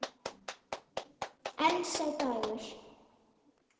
En sá dagur!